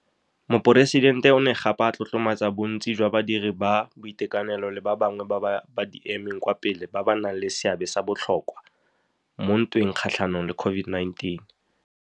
Moporesidente o ne gape a tlotlomatsa bontsi jwa badiri ba boitekanelo le ba bangwe ba ba di emeng kwa pele ba ba nang le seabe sa botlhokwa mo ntweng kgatlhanong le COVID-19.